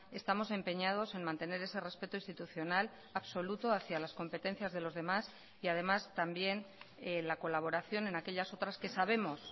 estamos empeñados en mantener ese respeto institucional absoluto hacia las competencias de los demás y además también la colaboración en aquellas otras que sabemos